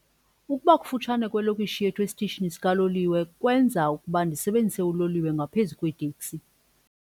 Ubufuphi belokishi yethu esitishini sikaloliwe benza ukuba ndisebenzise uloliwe ngaphezu kweeteksi.